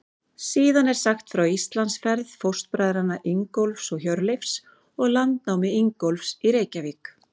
Síðan er sagt frá Íslandsferð fóstbræðranna Ingólfs og Hjörleifs og landnámi Ingólfs í Reykjavík.